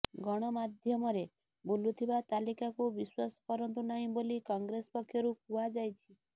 ଗଣମାଧ୍ୟମରେ ବୁଲୁଥିବା ତାଲିକାକୁ ବିଶ୍ବାସ କରନ୍ତୁ ନାହିଁ ବୋଲି କଂଗ୍ରେସ ପକ୍ଷରୁ କୁହାଯାଇଛି